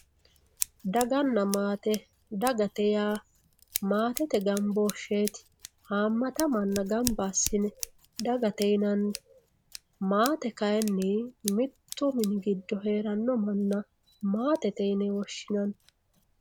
daganna maate dagate yaa maatete gambooshsheeti hamata manna gamba assine dagate yinanni maate kayiinni mittu mini giddo heeranno manna maatete yine woshshinanni